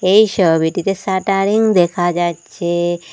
এই সবিটিতে শাটারিং দেখা যাচ্ছে।